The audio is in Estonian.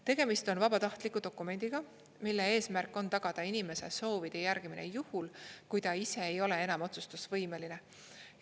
Tegemist on vabatahtliku dokumendiga, mille eesmärk on tagada inimese soovide järgimine juhul, kui ta ise ei ole enam otsustusvõimeline.